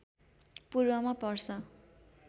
पूर्वमा पर्छ